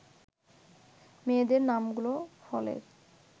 মেয়েদের নামগুলো ফলের